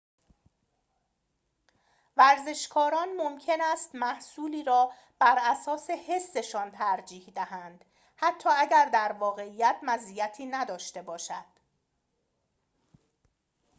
ورزشکاران ممکن است محصولی را براساس حسشان ترجیح دهند حتی اگر در واقعیت مزیتی نداشته باشد